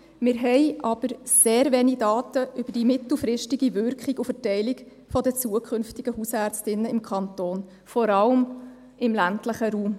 Wir haben sehr wenig Daten über die mittelfristige Wirkung und Verteilung der zukünftigen Hausärztinnen im Kanton, vor allem im ländlichen Raum.